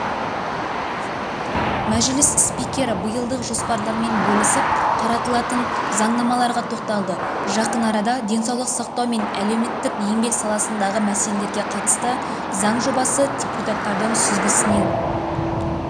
мәжіліс спикері биылдық жоспарлармен бөлісіп қаралатын заңнамаларға тоқталды жақын арада денсаулық сақтау мен әлеметтік-еңбек саласындағы мәселелерге қатысты заң жобасы депутаттардың сүзгісінен